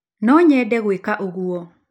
No nyende gwĩka ũguo!